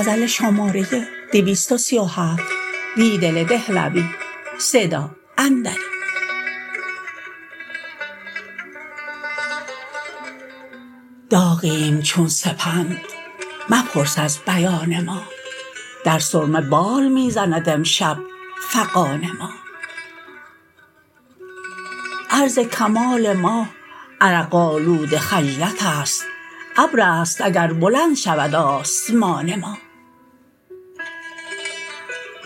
داغیم چون سپند مپرس از بیان ما در سرمه بال می زند امشب فغان ما عرض کمال ما عرق آلود خجلت است ابر است اگر بلند شود آسمان ما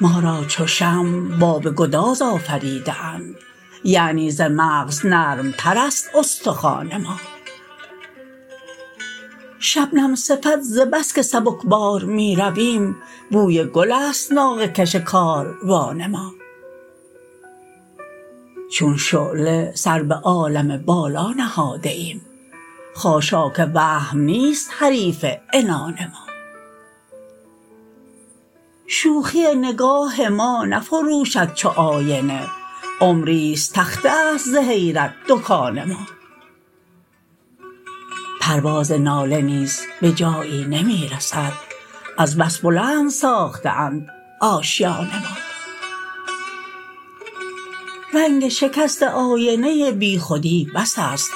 ما را چو شمع باب گداز آفریده اند یعنی ز مغز نرم تر است استخوان ما شبنم صفت ز بسکه سبکبار می رویم بوی گل است ناقه کش کاروان ما چون شعله سر به عالم بالا نهاده ایم خاشاک وهم نیست حریف عنان ما شوخی نگاه ما نفروشد چو آینه عمری ست تخته است ز حیرت دکان ما پرواز ناله نیز به جایی نمی رسد از بس بلند ساخته اند آشیان ما رنگ شکسته آینه بی خودی بس است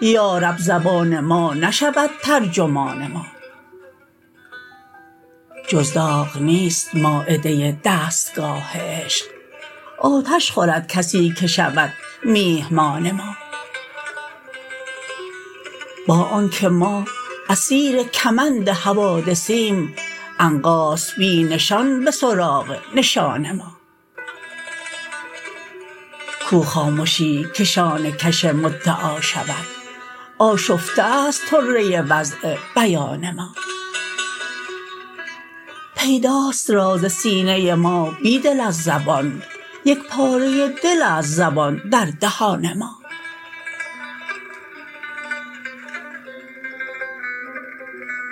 یارب زبان ما نشود ترجمان ما جز داغ نیست مایده دستگاه عشق آتش خورد کسی که شود میهمان ما با آنکه ما اسیر کمند حوادثیم عنقاست بی نشان به سراغ نشان ما کو خامشی که شانه کش مدعا شود آشفته است طره وضع بیان ما پیداست راز سینه ما بیدل از زبان یک پاره دل است زبان در دهان ما